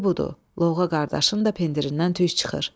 İndi budur: Lovğa qardaşın da pindirindən tüs çıxır.